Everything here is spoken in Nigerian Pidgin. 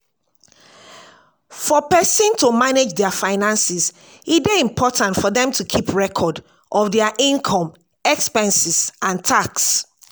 for person to manage their finances e dey important for them to keep record of their inome expenses and tax